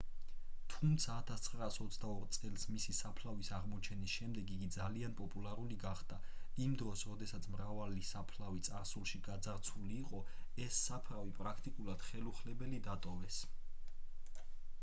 თუმცა 1922 წელს მისი საფლავის აღმოჩენის შემდეგ იგი ძალიან პოპულარული გახდა იმ დროს როდესაც მრავალი საფლავი წარსულში გაძარცვული იყო ეს საფლავი პრაქტიკულად ხელუხლებელი დატოვეს